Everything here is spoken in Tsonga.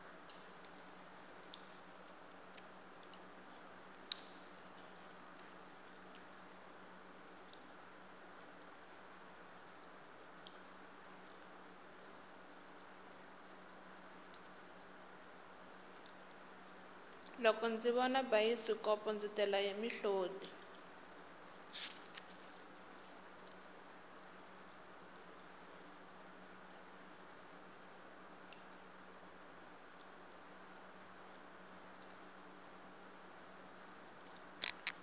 loko ndzi vona bayisikopo ndzi tela hi mihoti